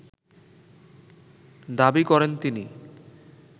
দাবি করেন তিনি